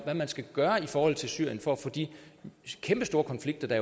hvad man skal gøre i forhold til syrien for at få de kæmpestore konflikter der